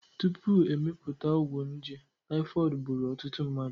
Tupu emepụta ọgwụ nje, typhoid gburu ọtụtụ mmadụ